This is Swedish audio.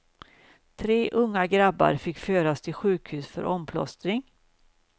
Tre unga grabbar fick föras till sjukhus för omplåstring.